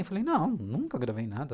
Eu falei, não, nunca gravei nada.